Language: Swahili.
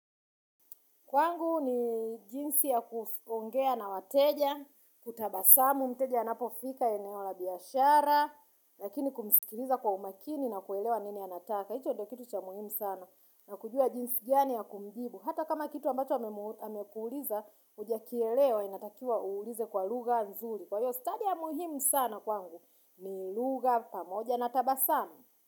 Kwangu ni jinsi ya kuongea na wateja, kutabasamu, mteja anapofika eneo la biashara, lakini kumisikiliza kwa umakini na kuelewa nini anataka. Hicho ndio kitu cha muhimu sana na kujua jinsi gani ya kumjibu. Hata kama kitu ambacho hamekuuliza, huja kielewa inatakiwa uulize kwa lugha nzuri. Kwa hiyo stadi ya muhimu sana kwangu, ni lugha pamoja na tabasamu.